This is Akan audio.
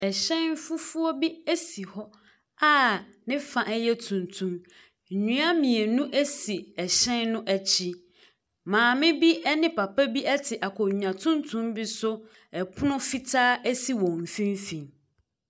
Ɛhyɛn fufuo bi si hɔ a ne fa yɛ tuntum. Nnua mmienu si hyɛn no akyi. Maame bi ne papa bi te akonnwa tuntum bi so. Ɛpono fitaa si wɔn mfimfinin.